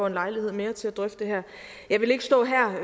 en lejlighed mere til at drøfte det her jeg vil ikke stå her